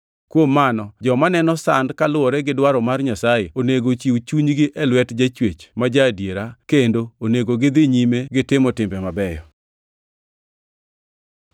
Kuom mano joma neno sand kaluwore gi dwaro mar Nyasaye onego ochiw chunygi e lwet Jachwech ma ja-adiera kendo onego gidhi nyime gi timo timbe mabeyo.